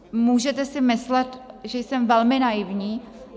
Můžete si myslet, že jsem velmi naivní.